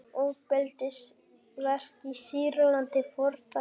Ofbeldisverk í Sýrlandi fordæmd